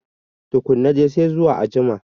Tukunna dai, sai zuwa a jima.